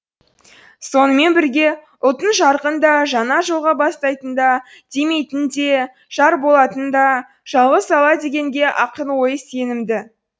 сонымен бірге ұлтын жарқын да жаңа жолға бастайтында демейтінде жар болатында жалғыз алла дегенге ақын ойы нық сенімді